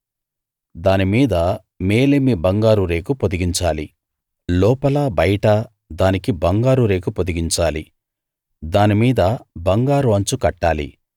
దాని మీద మేలిమి బంగారు రేకు పొదిగించాలి లోపలా బయటా దానికి బంగారు రేకు పొదిగించాలి దాని మీద బంగారు అంచు కట్టాలి